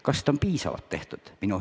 Kas seda on piisavalt tehtud?